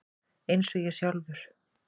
Eins og ég sjálfur.